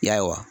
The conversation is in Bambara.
Ya